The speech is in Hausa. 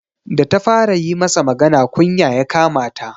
Da ta fara yi masa magana, kunya ya kama ta.